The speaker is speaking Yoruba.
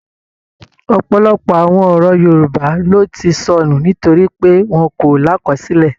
Ọ̀pọlọpọ̀ àwọn ọ̀rọ̀ Yorùbá ló ti sọnù nítorí pé wọ́n kò lákọsílẹ̀